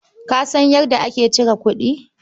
Ka san yadda ake cire kuɗi?